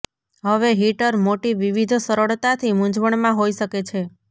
હવે હીટર મોટી વિવિધ સરળતાથી મૂંઝવણમાં હોઈ શકે છે